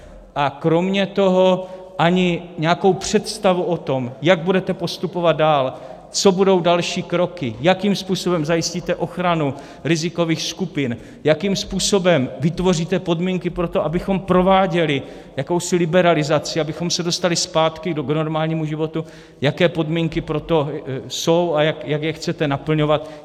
A kromě toho ani nějakou představu o tom, jak budete postupovat dál, co budou další kroky, jakým způsobem zajistíte ochranu rizikových skupin, jakým způsobem vytvoříte podmínky pro to, abychom prováděli jakousi liberalizaci, abychom se dostali zpátky k normálnímu životu, jaké podmínky pro to jsou a jak je chcete naplňovat.